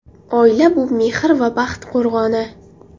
Oila – bu mehr va baxt qo‘rg‘oni.